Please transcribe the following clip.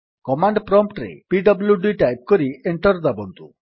command prompt ରେ PWD type କରି enter ଦାବନ୍ତୁ